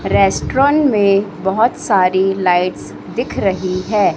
Restaurant में बहुत सारी लाइट्स दिख रही है।